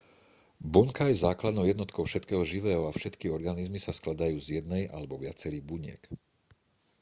bunka je základnou jednotkou všetkého živého a všetky organizmy sa skladajú z jednej alebo viacerých buniek